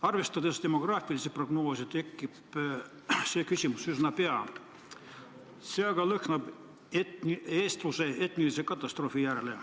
Arvestades demograafilisi prognoose, tekib see küsimus üsna pea, see aga lõhnab eestluse etnilise katastroofi järele.